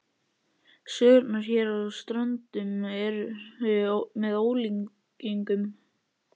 Sögurnar hér á Ströndum eru með ólíkindum.